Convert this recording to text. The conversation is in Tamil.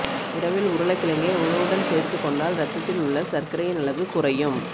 இரவில் உருளைக்கிழங்கை உணவுடன் சேர்த்து கொண்டால் இரத்தத்தில் உள்ள சர்க்கரையின் அளவு குறையும்